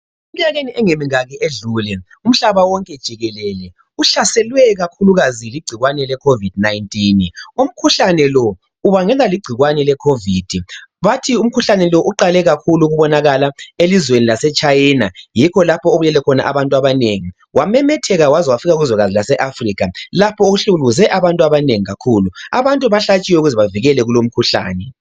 Eminyakeni engemingaki edlule umhlaba wonke jikelele uhlaselwe kakhulukazi ligcikwane leCovid-19. Umkhuhlane lo ubangelwa ligcikwane leCovid. Bathi umkhuhlane lo uqale kakhulu ukubonakala elizweni laseChina. Yikho lapho ebulale khona bantu abanengi. Wamemetheka waze wafika kuzwekazi laseAfrica lapho ohlukuluze abantu abanengi kakhulu. Abantu bahlatshiwe ukuze bavikelwe kulo umkhuhlane.